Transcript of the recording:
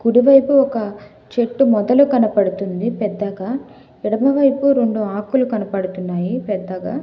కుడివైపు ఒక చెట్టు మొదలు కనపడుతుంది పెద్దగా ఎడమవైపు రెండు ఆకులు కనపడుతున్నాయి పెద్దగా.